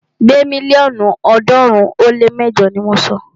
Gbé mílíọ̀nù ọ̀ọ́dúnrún ó lé mẹjọ ni mọ sọ!